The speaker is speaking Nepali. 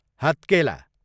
हत्केला